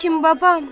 Lakin babam.